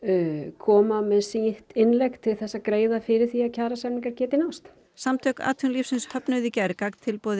koma með sitt innlegg til þess að greiða fyrir því að kjarasamningar geti náðst samtök atvinnulífsins höfnuðu í gær gagntilboði